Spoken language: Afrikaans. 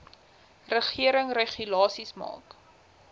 regering regulasies maak